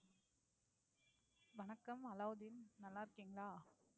வணக்கம் அலாவுதீன் நல்லா இருக்கீங்களா